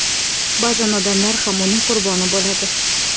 Ba’zan odamlar ham uning qurboni bo‘ladi.